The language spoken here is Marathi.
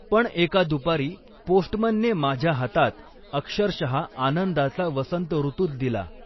पण एका दुपारी पोस्टमनने माझ्या हातात, अक्षरशः आनंदाचा वसंतऋतूच दिला.